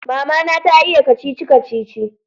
Mama na ta iya kacici-kacici